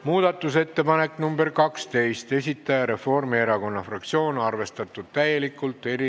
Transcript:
Muudatusettepaneku nr 12 esitaja on Reformierakonna fraktsioon, täielikult arvestatud.